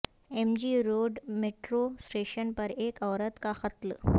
M G road metro station پر ایک عورت کاقتل